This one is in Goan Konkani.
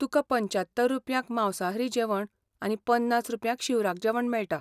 तुका पंच्यात्तर रुपयांक मांसाहारी जेवण आनी पन्नास रुपयांक शिवराक जेवण मेळटा.